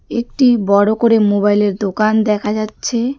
একটি বড়ো করে মোবাইলের দোকান দেখা যাচ্ছে.